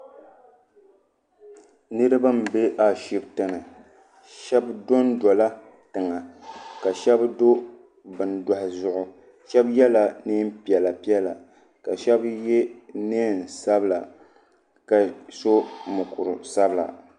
Niriba n bɛ ashibiti ni shɛba do n do la tiŋa ka shɛba do bini dɔhi zuɣu shɛba yela nɛn piɛlla piɛlla ka shɛba ye nɛma sabila ka so mukuri sabila.